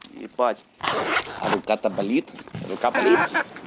ебать рука то болит рука болит